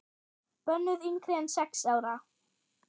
Bönnuð yngri en sex ára.